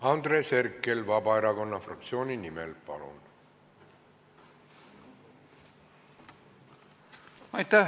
Andres Herkel Vabaerakonna fraktsiooni nimel, palun!